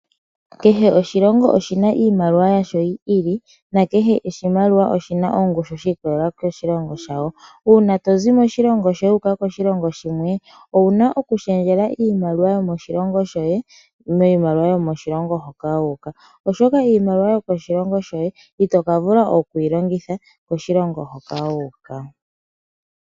Kehe oshilongo oshina iimaliwa yasho yi ili. Nakehe oshimaliwa oshina ongushu shiikololela koshilongo shasho. Uuna tozi moshilongo shoye wuuka koshilongo shimwe. Owuna oku shendjela iimaliwa yomoshilongo shoye kiimaliwa yomoshilongo hoka toyi. Oshoka iimaliwa yomoshilongo shoye ito ka vula okuyi longitha koshilongo hoka wuuka.